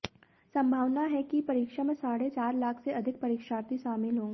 संभावना है कि परीक्षा में साढ़े चार लाख से अधिक परीक्षार्थी शामिल होंगे